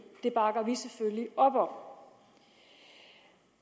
det bakker vi selvfølgelig op om